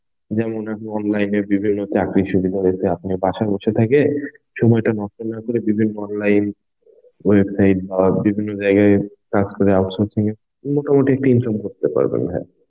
যেমন আমি online এ বিভিন্ন চাকরি সুবিধা হয়েছে. আপনার বাসায় বসে থেকে সময়টা নষ্ট না করে বিভিন্ন online website বা বিভিন্ন জায়গায় কাজ করে অবসর সময় এ মোটামুটি একটা income করতে পারবেন.